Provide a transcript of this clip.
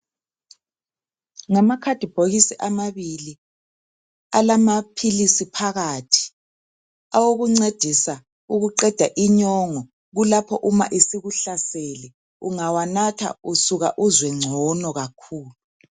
Ngamakhadibhokisi amabili alamaphilisi phakathi awokuncedisa ukuqeda inyongo, kulapho uma isikuhlasele, ungawanatha usuka uzwe ngcono kakhulu.